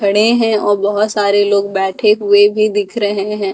खड़े है और बहुत सारे लोंग बैठे हुए भी दिख रहे है ।